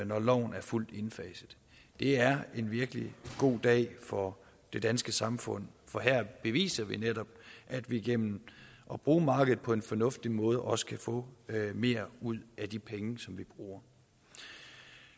når loven er fuldt indfaset det er en virkelig god dag for det danske samfund for her beviser vi netop at vi gennem at bruge markedet på en fornuftig måde også kan få mere ud af de penge som vi bruger